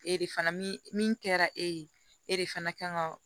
E de fana min min kɛra e ye e de fana ka kan ka